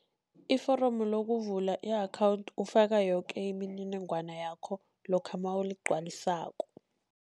Iforomo lokuvula i-account ufaka yoke imininingwana yakho lokha nawugcwalisako.